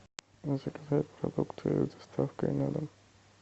заказать продукты с доставкой на дом